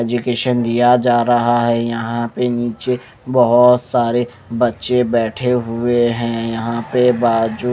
education दिया जा रहा है यहां पे नीचे बहुत सारे बच्चे बैठे हुए हैं यहां पे बात--